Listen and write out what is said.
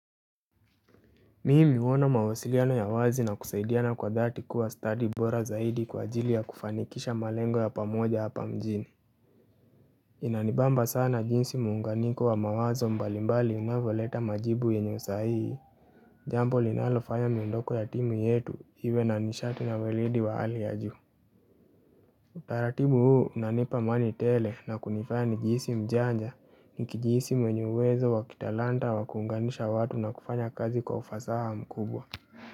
Mimi huwa na mawasiliano ya wazi na kusaidiana kwa dhati kuwa stadi bora zaidi kwa ajili ya kufanikisha malengo ya pamoja hapa mjini Inanibamba sana jinsi muunganiko wa mawazo mbalimbali unavyoleta majibu yenye usahihi, Jambo linalofanya miondoko ya timu yetu iwe na nishati na weledi wa hali ya juu Utaratibu huu unanipa amani tele na kunifaya nijihisi mjanja nikijihisi mwenye uwezo wa kitalanta wa kuunganisha watu na kufanya kazi kwa ufasaha mkubwa.